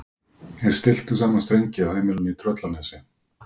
Þeir stilltu saman strengi á heimilinu í Tröllanesi.